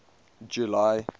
july